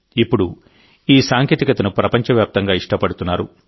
ఇప్పుడు ఈ సాంకేతికతను ప్రపంచవ్యాప్తంగా ఇష్టపడుతున్నారు